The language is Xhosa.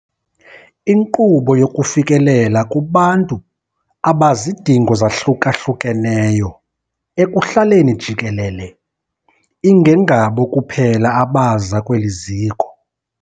Inkqubo yokufikelela kubantu abazidingo zahlukahlukeneyo ekuhlaleni jikelele, ingengabo kuphela abaza kweli ziko.